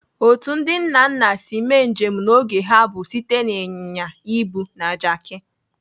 Otu ndị nna nna si mee njem n'oge ha bụ site na ịnyịnya ibu na Jaki.